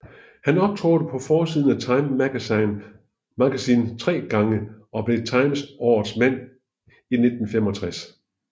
Han optrådte på forsiden af Time Magazine tre gange og blev Times årets mand i 1965